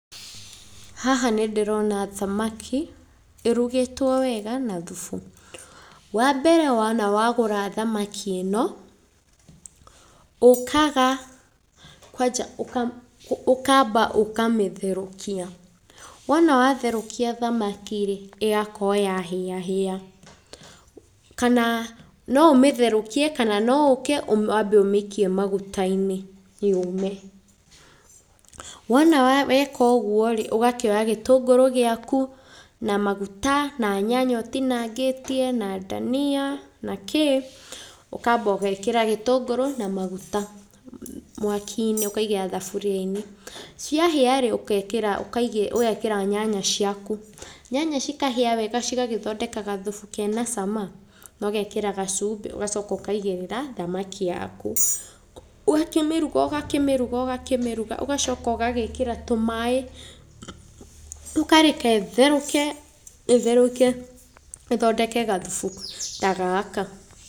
Haha nĩ ndĩrona thamaki ĩrugĩtwo wega na thubu. Wa mbere wona wagũra thamaki ĩno, ũkaga kwanja ũkamba ũkamĩtherũkia, wona watherũkia thamaki ĩ, ĩgakorwo yahĩa hĩa. Kana no ũmĩtherũkie kana ũke wambe ũmĩikie maguta-inĩ yũme. Wona weka ũguo rĩ, ũgakĩoya gĩtũngũrũ gĩaku, na maguta, na nyanya ũtinangitie na ndania na kĩĩ, ũkamba ũgekĩra gĩtũngũrũ na maguta mwaki-inĩ ũkaigĩrĩra thaburia-inĩ. Ciahĩa rĩ, ũgekĩra nyanya ciaku, nyanya cikahĩa wega cigathondeka gathubu kena cama na ũgekĩra gacumbĩ ũgacoka ũkaigĩrĩra thamaki yaku. Ũgakĩmĩruga ũgakĩmĩruga ũgakĩmĩruga, ũgacoka ũgagĩkĩra tũmaĩ ũkareke ĩtherũke ĩtherũke ĩthondeke gathubu ta gaka.